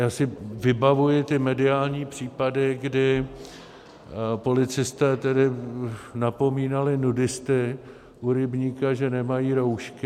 Já si vybavuji ty mediální případy, kdy policisté tedy napomínali nudisty u rybníka, že nemají roušky.